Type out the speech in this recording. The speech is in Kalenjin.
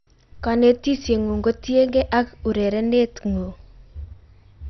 konetisiengung kotiengei ak urerenetngung